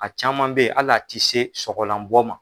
A caman bɛ yen hali a tɛ se sɔgɔlan bɔ ma